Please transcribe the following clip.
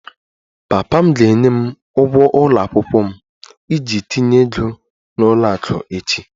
Papa m ga-enye m ụgwọ ụlọ akwụkwọ m iji tinye ego n'ụlọ akụ echi